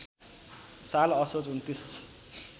साल असोज २९